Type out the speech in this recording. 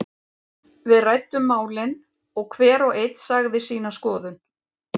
Við ræddum málin og hver og einn sagði sína skoðun.